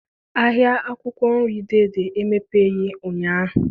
Ahịa akwụkwọ nri Dei Dei emepeghị ụnyaahụ.